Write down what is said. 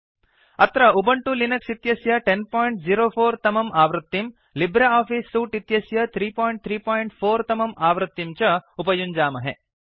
अत्र Ubuntu Linux इत्यस्य 1004 तमम् आवृत्तिम् लिब्रे आफिस् सूट् इत्यस्य 334 तमम् आवृत्तिं च उपयुञ्जामहे